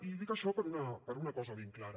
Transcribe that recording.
i dic això per una cosa ben clara